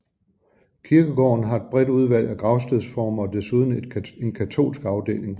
Kirkegården har et bredt udvalg af gravstedsformer og desuden en katolsk afdeling